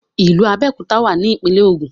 ìlú Abéòkúta wà ní ìpínlẹ̀ Ògùn